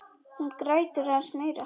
Hún grætur aðeins meira.